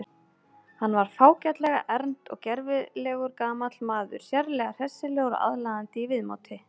Hann var fágætlega ern og gervilegur gamall maður, sérlega hressilegur og aðlaðandi í viðmóti.